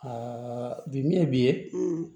bi min ye bi ye